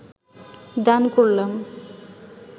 দান করলাম